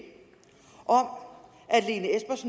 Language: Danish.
om